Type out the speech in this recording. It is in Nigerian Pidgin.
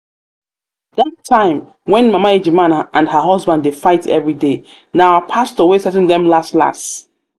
um dat time when mama ejima and her husband dey um fight everyday na our pastor um wey settle dem las las